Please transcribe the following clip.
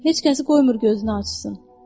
Heç kəsi qoymur gözünü açsın.